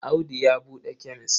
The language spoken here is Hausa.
Audu ya buɗe kemes.